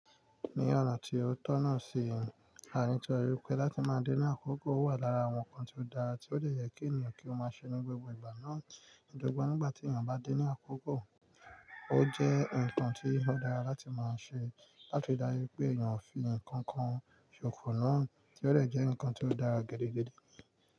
Ní ọ̀nà tí ó tọ̀nà sí, a rí i tó wípé láti máa dín ní àkókò wà lára àwọn nǹkan tí ó dára tí ó lè yẹ kí ènìyàn kí ó máa ṣe ní gbogbo ìgbà náà. Gbogbo nígbà tí ènìyàn bá dín ní àkókò, o jẹ́ nǹkan tí ó dára láti máa ṣe láti darí pé ènìyàn fi nǹkan kan ṣòkò náà, tí ó jẹ́ nǹkan tí ó dára gẹ́gẹ́ gẹ́gẹ́.